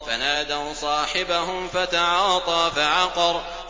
فَنَادَوْا صَاحِبَهُمْ فَتَعَاطَىٰ فَعَقَرَ